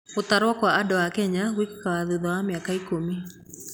Gũtarwo kwa andũ Kenya gwĩkĩkaga thutha wa mĩaka ikũmi.